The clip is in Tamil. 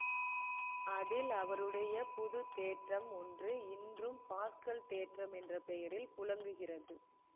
அதில் அவருடைய புதுத்தேற்றம் ஒன்று இன்றும் பாஸ்கல் தேற்றம் என்ற பெயரில் புழங்குகிறது